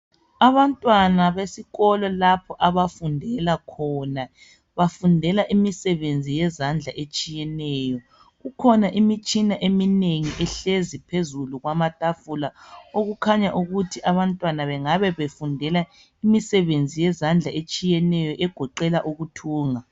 Abantwana besikolo lapha abafundela khona. Bafundela imisebenzi yezandla etshiyeneyo. Kukhona imitshina eminengi ehlezi phezulu kwamatafula. Okukhanya ukuthi abantwana bengabe befundela imisebenzi yezandla etshiyeneyo, egoqela ukuthunga.